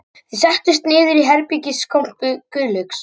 Þau settust niður í herbergiskompu Guðlaugs